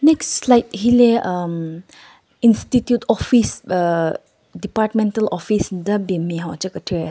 Next slide hile hhm institute office aah departmental office nden ben nme hon che kethyü.